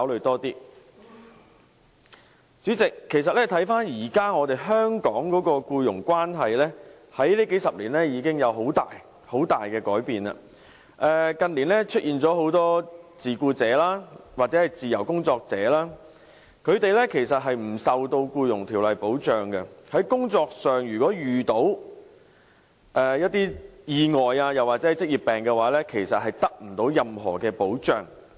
代理主席，其實回看現時香港的僱傭關係，數十年來已有很大改變，近年出現很多自僱者或自由工作者，他們其實不受《僱傭條例》的保障，如在工作上遇到意外或患上職業病的話，其實不會得到任何保障。